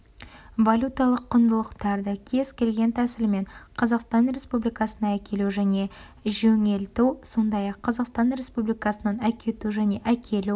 валюталық құндылықтарды кез келген тәсілмен қазақстан республикасына әкелу және жөңелту сондай-ақ қазақстан республикасынан әкету және әкелу